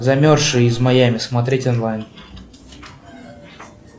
замерзшие из майами смотреть онлайн